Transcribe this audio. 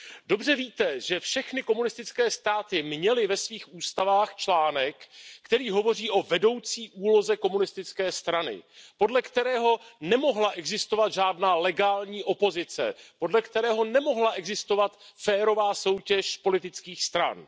Dobře víte, že všechny komunistické státy měly ve svých ústavách článek, který hovoří o vedoucí úloze komunistické strany, podle kterého nemohla existovat žádná legální opozice, podle kterého nemohla existovat férová soutěž politických stran.